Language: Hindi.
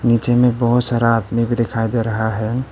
नीचे में बहोत सारा आदमी भी दिखाई दे रहा है।